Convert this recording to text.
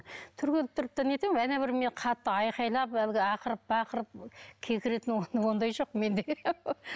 түрегеліп тұрып та нетемін әне бір мен қатты айғайлап әлгі ақырып бақырып кекіретін ондай жоқ менде